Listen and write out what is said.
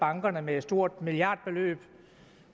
bankerne med et stort milliardbeløb